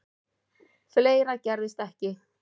Fleira gerðist ekki.